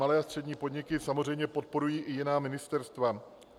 Malé a střední podniky samozřejmě podporují i jiná ministerstva.